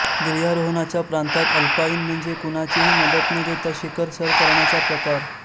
गिर्यारोहणाच्या प्रांतात अल्पाईन म्हणजे कुणाचीही मदत न घेता शिखर सर करण्याचा प्रकार